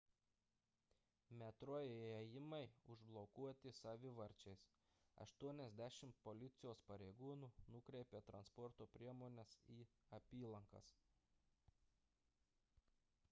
metro įėjimai užblokuoti savivarčiais 80 policijos pareigūnų nukreipė transporto priemones į apylankas